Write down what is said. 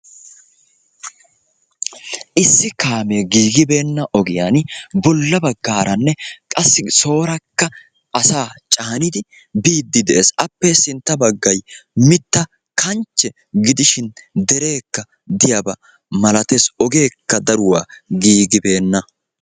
Issi kaamee giigibeena ogiyaani bolla baggaaranne qassi soorakka asaa caanidi biidi de'ees, appe sintta bagay mitta kanche gidishin dereekka diyaaba malatees, ogeeekka daruwa giigibeenna.